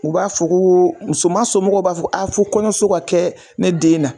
U b'a fɔ ko, musoman somɔgɔw b'a fɔ a fo kɔɲɔso ka kɛ ne den na.